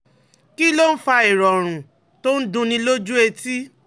Kí ló ń fa ìrọ̀rùn tó ń dunni lójú etí?